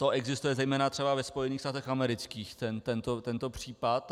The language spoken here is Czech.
To existuje zejména třeba ve Spojených státech amerických, tento případ.